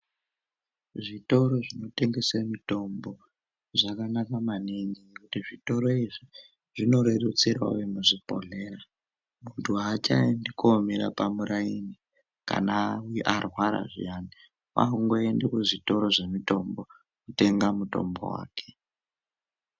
Zvitoro zvinotengese mitombo zvakanaka maningi nekuti zvitoro izvi zvinorerutsirewo vemuzvibhehleya nokuti achaendei komire pamuraini kana arwara zviyani kwakungoende kuzvitoro zvemitombo kutenga mutombo wake.